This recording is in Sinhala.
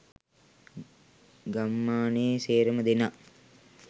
ගම්මානේ සේරම දෙනා